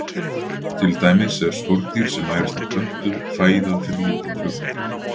Til dæmis er skordýr sem nærist á plöntu fæða fyrir lítinn fugl.